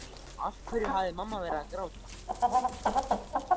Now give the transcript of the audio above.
Af hverju hafði mamma verið að gráta?